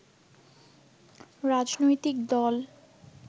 রাজনৈতিক দল